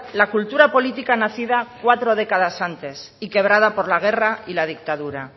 la cultura política nacida cuatro décadas antes y quebrada por la guerra y la dictadura